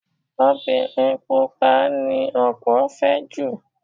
Obìnrin Pupa ni ọ̀pọ̀ fẹ́ jù.